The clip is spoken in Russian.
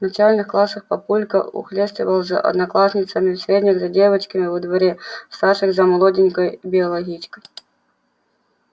в начальных классах папулька ухлёстывал за одноклассницами в средних за девчонками во дворе в старших за молоденькой биологичкой